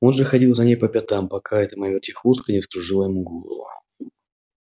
он же ходил за ней по пятам пока эта моя вертихвостка не вскружила ему голову